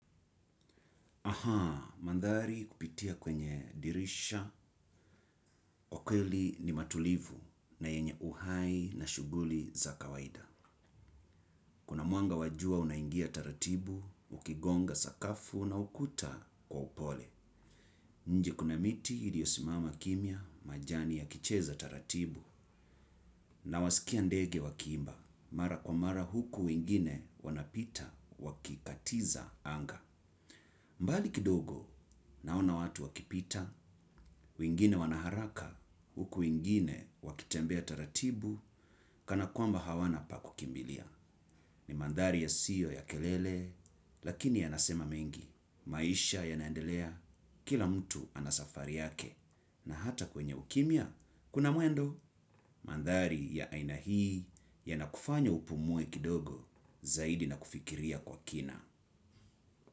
Ahaa, mandhari kupitia kwenye dirisha, kwa kweli ni matulivu na yenye uhai na shughuli za kawaida. Kuna mwanga wa jua unaingia taratibu, ukigonga sakafu na ukuta kwa upole. Nje kuna miti iliyo simama kimya majani ya kicheza taratibu na wasikia ndege wakiimba. Mara kwa mara huku wengine wanapita wakikatiza anga. Mbali kidogo naona watu wakipita, wengine wanaharaka, huku wengine wakitembea taratibu, kana kwamba hawana pa kukimbilia. Ni mandhari yasiyo ya kelele, lakini yanasema mengi. Maisha yanaendelea, kila mtu anasafari yake. Na hata kwenye ukimya, kuna mwendo mandhari ya aina hii yanakufanya upumue kidogo zaidi na kufikiria kwa kina.